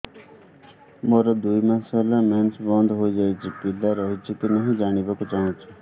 ମୋର ଦୁଇ ମାସ ହେଲା ମେନ୍ସ ବନ୍ଦ ହେଇ ଯାଇଛି ପିଲା ରହିଛି କି ନାହିଁ ଜାଣିବା କୁ ଚାହୁଁଛି